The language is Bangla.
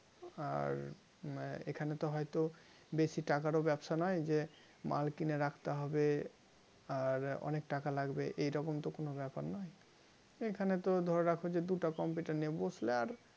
আর এখানে তো হয়তো বেশি টাকারও ব্যবসা নয় যে মাল কিনে রাখতে হবে আর অনেক টাকা লাগবে এরকম তো কোনো ব্যাপার নয় এখানে তো ধরে রাখো যে দুইটা computer নিয়ে বসলে আর